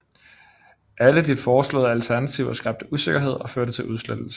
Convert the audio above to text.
Alle de foreslåede alternativer skabte usikkerhed og førte til udsættelser